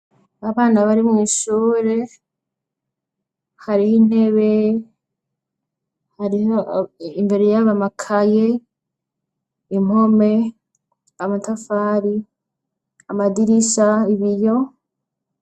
Abana bari mw'ishure, hariho intebe, hariho imbere y'abo amakaye, impome, amatafari, amadirisha, ibiyo.